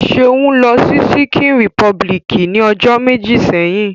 Seun lo si Ṣikin Repubiliki ni ojo meji seyin.